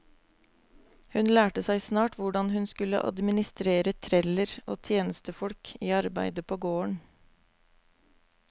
Hun lærte seg snart hvordan hun skulle administrere treller og tjenestefolk i arbeidet på gården.